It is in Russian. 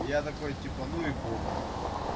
я такой типа ну и похуй типа